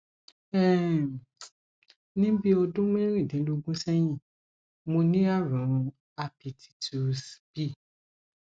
um ni bi odun merindinlogun sehin mo ni arun hapititus b